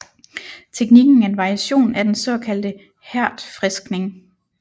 Teknikken er en variation af den såkaldte hærdfriskning